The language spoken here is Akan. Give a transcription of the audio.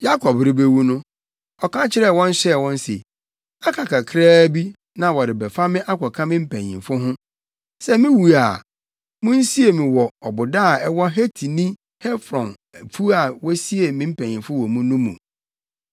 Yakob rebewu no, ɔka kyerɛɛ wɔn hyɛɛ wɔn se, “Aka kakraa bi, na wɔrebɛfa me akɔka me mpanyimfo ho. Sɛ miwu a, munsie me wɔ ɔboda a ɛwɔ Hetini Efron afuw a wosiee me mpanyimfo wɔ mu no mu.